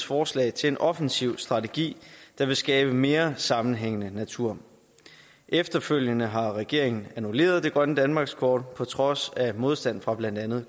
forslag til en offensiv strategi der vil skabe mere sammenhængende natur efterfølgende har regeringen annulleret det grønne danmarkskort på trods af modstand fra blandt andet